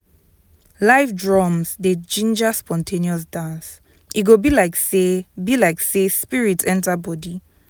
live drums dey ginger spontaneous dance e go be like say be like say spirit enter body.